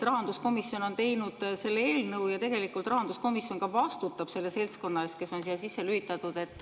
Rahanduskomisjon on teinud selle eelnõu ja rahanduskomisjon ka vastutab selle seltskonna eest, kes on siia sisse lülitatud.